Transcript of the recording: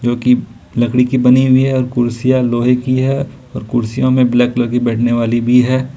जो कि लकड़ी की बनी हुई है और कुर्सिया लोहे की है और कुर्सियों मे ब्लैक कलर की बैठने वाली भी है।